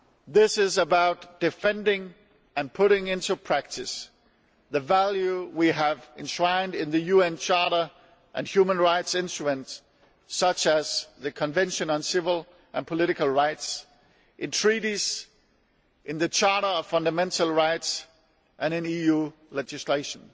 This is about defending and putting into practice the values we have enshrined in the UN Charter and human rights instruments such as the Convention on Civil and Political Rights, in Treaties, in the Charter on Fundamental Rights, and in EU legislation.